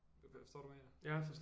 Forstår du hvad jeg mener